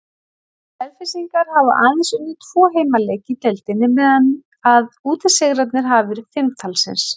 Selfyssingar hafa aðeins unnið tvo heimaleiki í deildinni meðan að útisigrarnir hafa verið fimm talsins.